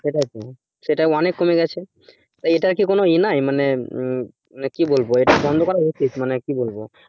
সেটাই তো সেটা অনেক কমে গেছে এই এটার কি কোনো এ নাই মানে কি বলবো এটা বন্ধ করা উচিত মনে কি বলবো